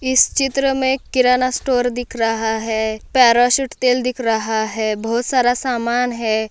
इस चित्र मे किराना स्टोर दिख रहा है पॅराशुट तेल दिख रहा है बहुत सारा सामान है।